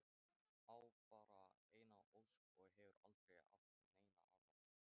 Á bara eina ósk og hefur aldrei átt neina aðra.